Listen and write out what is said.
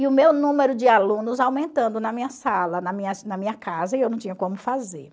E o meu número de alunos aumentando na minha sala, na minha na minha casa, e eu não tinha como fazer.